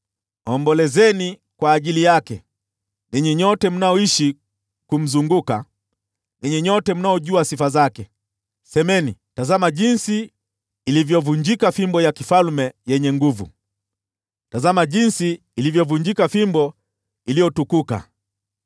Ombolezeni kwa ajili yake, ninyi nyote mnaomzunguka, ninyi nyote mnaojua sifa zake, semeni, ‘Tazama jinsi ilivyovunjika fimbo ya kifalme yenye nguvu, tazama jinsi ilivyovunjika fimbo iliyotukuka!’